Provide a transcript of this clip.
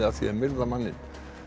að því að myrða manninn